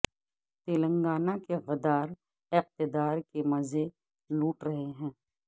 تلنگانہ کے غدار اقتدار کے مزے لوٹ رہے ہیں